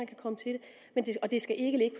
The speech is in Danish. at det og det skal ikke ligge